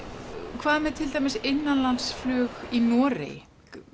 hvað með til dæmis innanlandsflug í Noregi